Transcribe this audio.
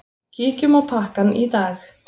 Kíkjum á pakkann í dag.